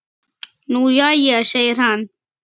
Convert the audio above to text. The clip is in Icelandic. Nú jæja segir hann.